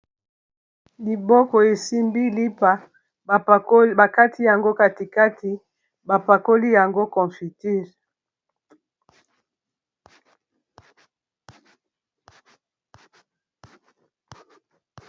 Liboko esimbi lipa bakati yango katikati bapakoli yango confuture.